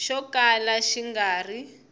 xo kala xi nga ri